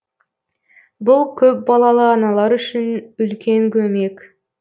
бұл көпбалалы аналар үшін үлкен көмек